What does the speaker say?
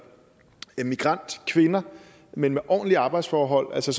migrantkvinder men med ordentlige arbejdsforhold altså